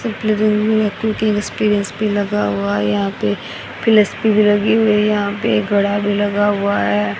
यहां पर घड़ा भी लगा हुआ है।